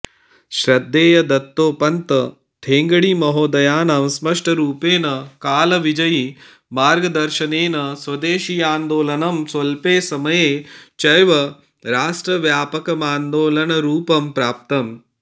श्रद्धेय दत्तोपन्त ठेंगड़ीमहोदयानां स्पष्टरूपेण कालविजयी मार्गदर्शनेन स्वदेशीयान्दोलनं स्वल्पे समये चैव राष्ट्रव्यापकमान्दोलनरूपं प्राप्तम्